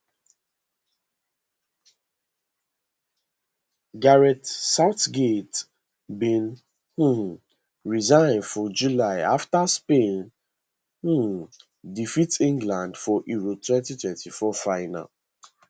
gareth southgate bin um resign for july afta spain um defeat england for euro 2024 final